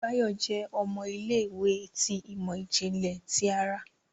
Bayo jẹ ọmọ ilé-ìwé ti imọ-jinlẹ ti àrà.